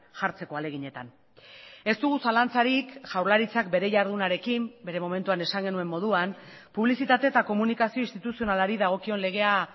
jartzeko ahaleginetan ez dugu zalantzarik jaurlaritzak bere jardunarekin bere momentuan esan genuen moduan publizitate eta komunikazio instituzionalari dagokion legea